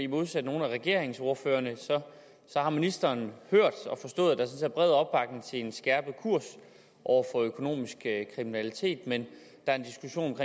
modsat nogle af regeringsordførerne har ministeren hørt og forstået at der sådan er bred opbakning til en skærpet kurs over for økonomisk kriminalitet men der er